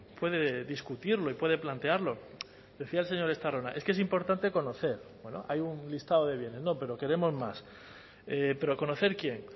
puede discutirlo y puede plantearlo decía el señor estarrona es que es importante conocer bueno hay un listado de bienes no pero queremos más pero conocer quién